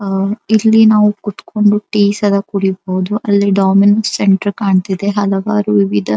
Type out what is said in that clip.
ಅಹ್ ಇಲ್ಲಿ ನಾವು ಕುತ್ ಕೊಂಡು ಟೀ ಸದ್ ಕುಡಿಬಹುದು ಅಲ್ಲಿ ಡೋಮಿನ್ಸ್ ಸೆಂಟರ್ ಕಾಣತ್ತಿದೆ ಹಲವಾರು ವಿವಿಧ.